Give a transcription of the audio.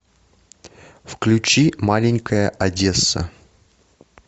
включи маленькая одесса